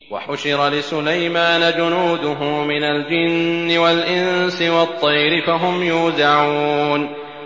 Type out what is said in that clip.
وَحُشِرَ لِسُلَيْمَانَ جُنُودُهُ مِنَ الْجِنِّ وَالْإِنسِ وَالطَّيْرِ فَهُمْ يُوزَعُونَ